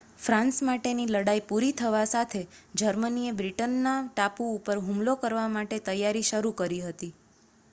France માટેની લડાઈ પૂરી થવા સાથે જર્મનીએ બ્રિટનના ટાપુ ઉપર હુમલો કરવા માટે તૈયારી શરુ કરી હતી